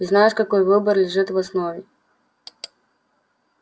и знаешь какой выбор лежит в основе